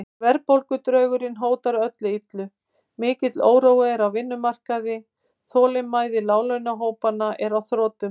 Verðbólgudraugurinn hótar öllu illu, mikill órói er á vinnumarkaði, þolinmæði láglaunahópanna er á þrotum.